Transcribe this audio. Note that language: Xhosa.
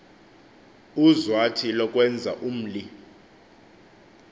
uzwathi lokwenza umli